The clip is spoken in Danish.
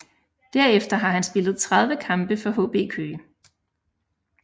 Derefter har han spillet 30 kampe for HB Køge